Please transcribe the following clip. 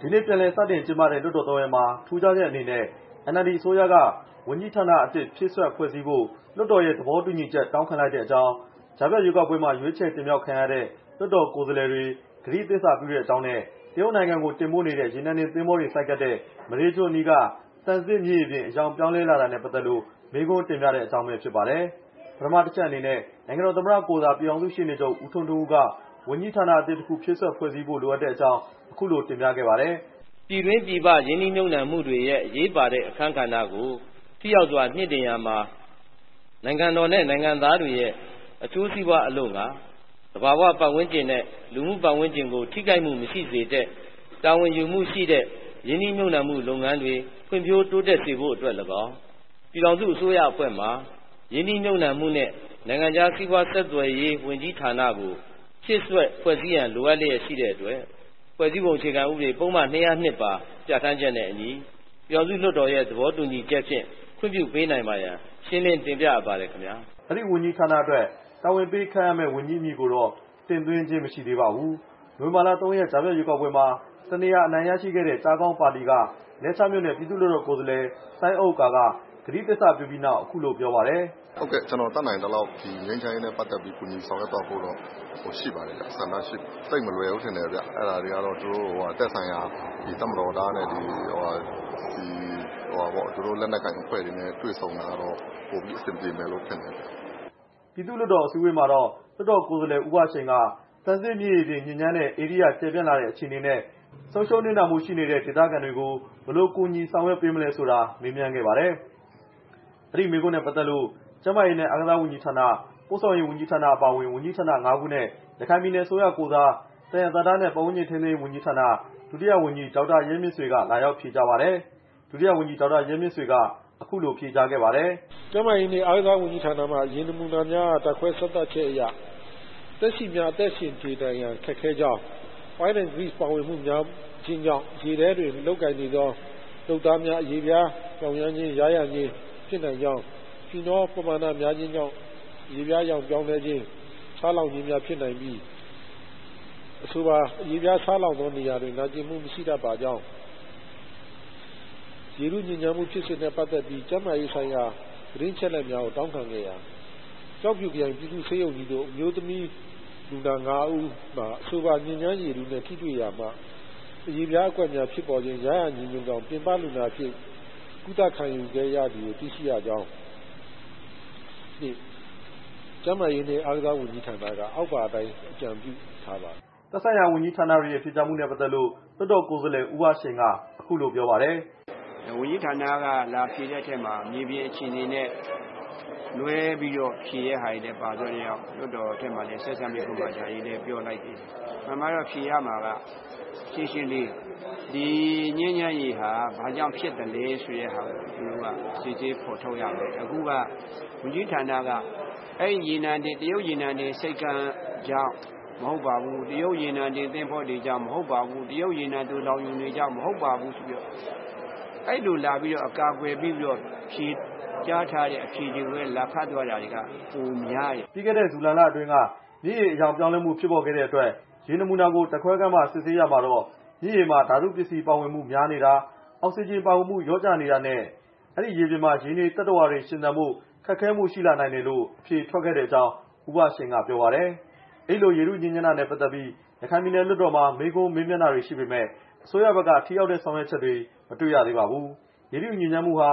ဒီနေ့ ပြန်လည်စတင်ကျင်းပတဲ့ လွှတ်တော်သုံးရပ်မှာ ထူးခြားချက်အနေနဲ့ NLD အစိုးရက ဝန်ကြီးဌာနအသစ် ဖြည့်စွက်ဖွဲ့စည်းဖို့ လွှတ်တော်ရဲ့ သဘောတူညီချက် တောင်းခံလိုက်တဲ့အကြောင်း၊ ကြားဖြတ်ရွေးကောက်ပွဲမှာ ရွေးချယ်တင်မြှောက်ခံရတဲ့ လွှတ်တော်ကိုယ်စားလှယ်တွေ ကတိသစ္စာပြုတဲ့အကြောင်းနဲ့ တရုတ်နိုင်ငံကို တင်ပို့တဲ့ ရေနံတင်သင်္ဘောတွေ ဆိုက်ကပ်တဲ့ မဒေးကျွန်းအနီးက သံဇစ်မြင်ရေပြင် အရောင်ပြောင်းလဲတာနဲ့ ပတ်သက်တဲ့ မေးခွန်းတင်ပြတဲ့အကြောင်းပဲ ဖြစ်ပါတယ်။ ပထမအချက်အနေနဲ့ နိုင်ငံတော် သမ္မတ ကိုယ်စား ပြည်ထောင်စုရှေ့နေချုပ် ဦးထွန်းထွန်းဦးက ဝန်ကြီးဌာနအသစ် တစ်ခု ဖြည့်စွက်ဖွဲ့စည်းဖို့ လိုအပ်တဲ့အကြောင်း အခုလိုတင်ပြခဲ့ပါတယ်။ "ပြည်တွင်းပြည်ပ ရင်းနှီးမြှုပ်နှံမူတွေရဲ့ အရေးပါတဲ့ အခန်းကဏ္ဍကို ထိရောက်စွာ မြှင့်တင်ရာမှာ နိုင်ငံတော်နဲ့ နိုင်ငံသားတွေရဲ့ အကျိုးစီးပွားအလို့ငှာ သဘာဝပတ်ဝန်းကျင်နဲ့ လူမှုပတ်ဝန်းကျင်ကို ထိခိုက်မှုမရှိစေတဲ့ တာဝန်ယူမှုရှိတဲ့ ရင်းနှီးမြှုပ်နှံတဲ့ လုပ်ငန်းတွေ ဖွံ့ဖြိုးတိုးတက်စေဖို့အတွက် လည်းကောင်း၊ ပြည်ထောင်စုအစိုးရ အဖွဲ့မှ ရင်းနှီးမြှုပ်နှံမှုနဲ့ နိုင်ငံခြားစီးပွား ဆက်သွယ်ရေးဝန်ကြီးဌာနကို ဖြည့်စွက် ဖွဲ့စည်းရန် လိုအပ်လျက် ရှိသည့်အတွက် ဖွဲ့စည်းပုံ အခြေခံဥပဒေ ပုဒ်မ ၂၀၂ ပါ ပြဌာန်းချက်နဲ့အညီ ပြည်ထောင်စုလွှတ်တော်ရဲ့ သဘောတူညီချက်နဲ့ ခွင့်ပြုပေးနိုင်ပါရန် ရှင်းလင်းတင်ပြအပ်ပါသည် ခင်ဗျား" အဲဒီဝန်ကြီးဌာနအတွက် တာဝန်ပေးခန့်အပ်မယ့် ဝန်ကြီးအမည်ကိုတော့ တင်သွင်းခြင်းမရှိသေးပါဘူး။ နိုဝင်ဘာ ၃ ရက်နေ့ ကြားဖြတ်ရွေးကောက်ပွဲမှာ တစ်နေရာ အနိုင်ရရှိခဲ့တဲ့ ကျားခေါင်းပါတီက လဲချားမြို့နယ် ပြည်သူ့လွှတ်တော် ကိုယ်စားလှယ် စိုင်းဥက္ကာ က ကတိသစ္စာပြုပြီးနောက် အခုလို ပြောပါတယ်။ "ဟုတ်ကဲ့ ကျနော် တတ်နိုင်သလောက် ဒီငြိမ်းချမ်းရေးနဲ့ ပတ်သက်ပြီး ကူညီဆောင်ရွက်သွားဖို့ ဆန္ဒရှိပါတယ်။ သိပ်မလွယ်ဘူးထင်တယ်ဗျ။ အဲဒါတွေကတော့ သက်ဆိုင်ရာ တပ်မတော်သား သူတို့လက်နက်ကိုင်အဖွဲ့တွေနဲ့ တွေ့ဆုံတာကတော့ ပိုပြီး အဆင်ပြေမယ်ထင်တယ်" ပြည်သူ့လွှတ်တော် အစည်းအဝေးမှာတော့ လွှတ်တော် ကိုယ်စားလှယ် ဦးဘရှိန်က သံဇစ်မြစ်ရေပြင် ညစ်ညမ်းတဲ့ ဧရိယာ ကျယ်ပြန့်လာတဲ့အခြေအနေနဲ့ ဆုံးရှုံးနစ်နာမှုတွေ ရှိနေတဲ့ ဒေသခံတွေကို ဘယ်လိုကူညီဆောင်ရွက်ပေးမလဲဆိုတာ မေးမြန်းခဲ့ပါတယ်။ အဲဒီမေးခွန်းနဲ့ ပတ်သက်လို့ ကျန်းမာရေးနဲ့ အားကစားဝန်ကြီးဌာန၊ ပို့ဆောင်ရေးဝန်ကြီးဌာန အပါအဝင် ဝန်ကြီးဌာန ငါးခုနဲ့ ရခိုင်ပြည်နယ်အစိုးရကိုယ်စား သယံဇာတနဲ့ ပတ်ဝန်းကျင်ထိန်းသိမ်းရေးဝန်ကြီးဌာန ဒုတိယ ဝန်ကြီး ဒေါက်တာ ရဲမြင့်ဆွေ က လာရောက်ဖြေကြားပါတယ်။ ဒုတိယ ဝန်ကြီး ဒေါက်တာ ရဲမြင့်ဆွေ က အခုလိုဖြေကြားခဲ့ပါတယ်။ "ကျန်းမာရေးနဲ့ အားကစားဝန်ကြီးဌာနက ရေနမူနာများအား ဓာတ်ခွဲစမ်းသပ်ချက်အရ သက်ရှိများ အသက်ရှင် နေထိုင်ရန် ခက်ခဲကြောင်း၊ ရေထဲတွင် မလုပ်ကိုင်သင့်ကြောင်း လုပ်သားများ အရေပြား ယားယံခြင်း၊ ယောင်ရမ်းခြင်း ဖြစ်နိုင်ကြောင်း၊ ဖီနော ပမာဏများခြင်းကြောင့် အရေပြားအရောင် ပြောင်းလဲခြင်း ဆားလောင်ခြင်းများ ဖြစ်နိုင်ပြီး အဆိုပါ အရေပြား ဆားလောင်သောနေရာတွင် နာကျင်မှု မရှိတတ်ပါကြောင်း၊ ရေထုညစ်ညမ်းမှု ဖြစ်စဉ်နဲ့ပတ်သက်ပြီး ကျန်းမာရေးဆိုင်ရာ သတင်းအချက်အလက်များကို တောင်းခံခဲ့ရာ ကျောက်ဖြူခရိုင် ပြည်သူ့ဆေးရုံကြီးသို့ အမျိုးသမီးလူနာ ၅ ဦး မှာ အဆိုပါ ညစ်ညမ်းရေထုနဲ့ ထိတွေ့ရာမှ အရေပြားအကွက်များဖြစ်ပေါ်ခြင်း ယားယံခြင်းတို့ကြောင့် ပြင်ပလူနာအဖြစ် ကုသခံယူခဲ့ရသည်ကို တွေ့ရှိရကြောင်းနဲ့ ကျန်းမာရေးနဲ့ အားကစား ဝန်ကြီးဌာနက အောက်ပါအတိုင်း အကြံပြုထားပါတယ်" သက်ဆိုင်ရာဝန်ကြီးဌာနတွေရဲ့ ဖြေကြားမှုတွေနဲ့ ပတ်သက်လို့ လွှတ်တော် ကိုယ်စားလှယ် ဦးဘရှိန်က အခုလို ပြောပါတယ်။ "ဝန်ကြီးဌာနက လာဖြေတဲ့အထဲမှာ မြေပြင်အခြေအနေနဲ့ လွဲပြီးတော့ ဖြေတဲ့ဟာတွေလည်း ပါသွားတဲ့ အတွက်ကြောင့် လွှတ်တော်ထဲမှာ ဆက်စပ်မေးခွန်းတွေလည်း ပြောလိုက်သေးတယ်။ အမှန်မှာတော့ ဖြေရမှာက ရှင်းရှင်းလေး ဒီညစ်ညမ်းရေဟာ ဘာကြောင့်ဖြစ်သလဲဆိုတာကို စစ်ဆေးဖော်ထုတ်ရမယ်။ အခုက ဝန်ကြီးဌာန က အဲဒီရေနံတင် တရုတ်ရေနံတင် ဆိပ်ကမ်းကြောင့် မဟုတ်ပါဘူး၊ တရုတ် ရေနံတင် သဘောၤ နဲ့ သိုလှောင်ရုံတွေကြောင့် မဟုတ်ပါဘူးဆိုပြီးတော့ အဲဒီလိုလာပြီးတော့ အကာအကွယ်ပေးပြီးတော့ ဖြေကြားထားတဲ့ အဖြေတွေကိုပဲ လာဖတ်သွားတာတွေက ပိုများတယ်" ပြီးခဲ့တဲ့ ဇူလိုင်လအတွင်းက မြစ်ရေ အရောင်ပြောင်းလဲမှု ဖြစ်ပေါ်ခဲ့တဲ့အတွက် ရေနမူနာကို ဓာတ်ခွဲခန်းမှာ စစ်ဆေးရာမှာတော့ မြစ်ရေမှာ ဓာတုပစ္စည်း ပါဝင်မှု များနေတာ၊ အောက်ဆီဂျင် ပါဝင်မှု လျော့ကျနေတာနဲ့ အဲဒီလိုရေပြင်မှာ ရေနေသတ္တဝါတွေ ရှင်သန်ဖို့ ခက်ခဲမှုရှိလာနိုင်တယ်လို့ အဖြေထွက်ခဲ့ကြောင်း ဦးဘရှိန်က ပြောပါတယ်။ အဲဒီလို ရေထုညစ်ညမ်းတာနဲ့ပတ်သတ်ပြီး ရခိုင်ပြည်နယ်လွှတ်တော်မှာ မေးခွန်း မေးမြန်းတာတွေရှိပေမယ့် အစိုးရဘက်က ထိရောက်တဲ့ ဆောင်ရွက်ချက်တွေ မတွေ့ရသေးပါဘူး။ ရေထုညစ်ညစ်မှုဟာ